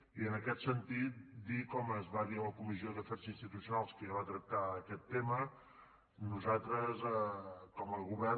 i en aquest sentit dir com es va dir a la comissió d’afers institucionals que ja va tractar aquest tema que nosaltres com a govern